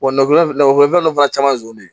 Wa nafolo nafolo fɛn fana caman zon de